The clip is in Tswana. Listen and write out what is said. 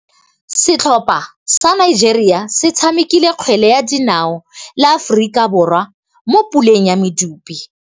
Setlhopha sa Nigeria se tshamekile kgwele ya dinaô le Aforika Borwa mo puleng ya medupe.